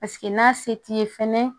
Paseke n'a se t'i ye fɛnɛ